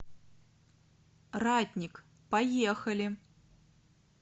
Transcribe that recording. ратник поехали